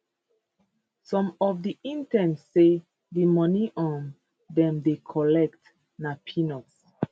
some of di interns say di money um dem dey collect na peanuts